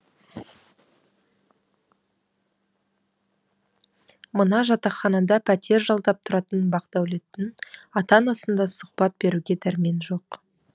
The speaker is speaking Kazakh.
мына жатақханада пәтер жалдап тұратын бақдәулеттің ата анасында сұхбат беруге дәрмен жоқ